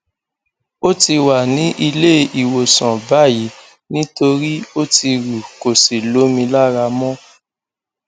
ó ti wà ní ilé ìwòsàn báyìí nítorí ó ti rú kò sí lómi lára mọ